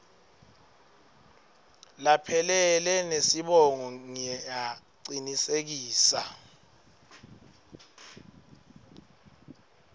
laphelele nesibongo ngiyacinisekisa